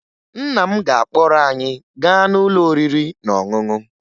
Nna m ga-akpọrọ anyị gaa n'ụlọ oriri na ọṅụṅụ